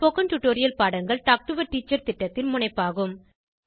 spoken tutorial பாடங்கள் talk to a teacher திட்டத்தின் முனைப்பாகும்